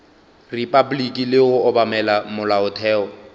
repabliki le go obamela molaotheo